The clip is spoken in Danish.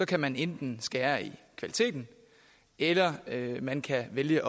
kan man enten skære i kvaliteten eller man kan vælge